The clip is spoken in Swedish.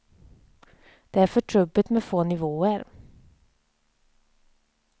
Det är för trubbigt med få nivåer.